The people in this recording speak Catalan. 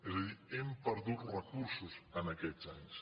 és a dir hem perdut recursos aquests anys